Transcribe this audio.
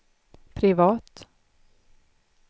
privat